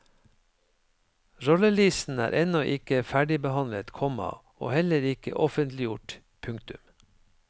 Rollelisten er ennå ikke ferdigbehandlet, komma og heller ikke offentliggjort. punktum